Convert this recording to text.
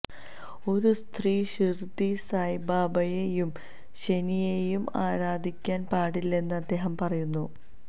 ഒരു സ്ത്രീ ഷിര്ദി സായിബാബയെയും ശനിയെയും ആരാധിക്കാന് പാടില്ലെന്നും അദ്ദേഹം പറയുന്നു